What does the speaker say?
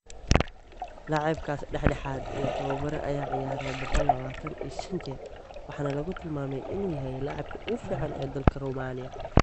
Laacibkaas dhexdhexaad iyo tababare ayaa ciyaaray boqol lawatan iyo shan jeer waxaana lagu tilmaamay in uu yahay laacibka ugu fiican ee dalka Romania.